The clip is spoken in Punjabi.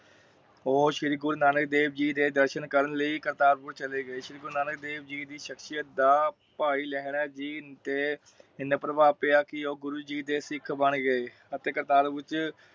ਉਹ ਸ਼੍ਰੀ ਗੁਰੂ ਨਾਨਕ ਦੇਵ ਜੀ ਦਰਸ਼ਨ ਕਰਨ ਲਈ, ਕਰਤਾਰਪੁਰ ਚਲੇ ਗਏ। ਸ਼੍ਰੀ ਗੁਰੂ ਨਾਨਕ ਦੇਵ ਜੀ ਦੀ ਸ਼ਕਸੀਅਤ ਦਾ ਭਾਈ ਲਹਿਰਾ ਤੇ ਏਨਾ ਪ੍ਰਭਾਵ ਪਿਆ ਕਿ ਉਹ ਗੁਰੂ ਜੀ ਦੇ ਸਿੱਖ ਬਣ ਗਏ। ਅਤੇ ਕਰਤਾਰਪੁਰ ਚ੍ਹ